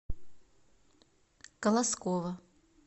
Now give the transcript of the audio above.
колоскова